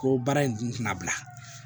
Ko baara in dun tɛna bila